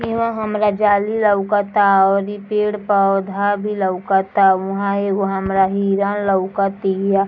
इहां हमरा जाली लउकता और ई पेड़ पोधा भी लउकता उहां एगो हमरा हिरन लउकतिआ |